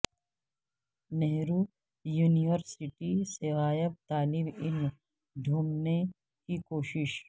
Nehru university سے غائب طالب علم ڈھونڈنے کی کوشش